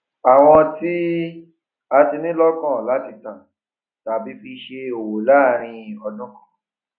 àwọn tí a ti ní lókàn láti tà tàbí fi ṣe òwò láàrín ọdún kan